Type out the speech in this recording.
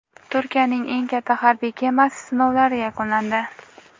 Turkiyaning eng katta harbiy kemasi sinovlari yakunlandi.